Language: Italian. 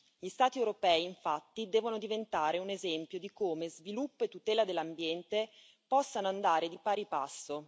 Gli Stati europei, infatti, devono diventare un esempio di come sviluppo e tutela dell'ambiente possano andare di pari passo.